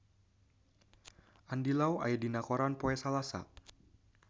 Andy Lau aya dina koran poe Salasa